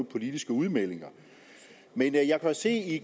politiske udmeldinger men jeg kan jo se at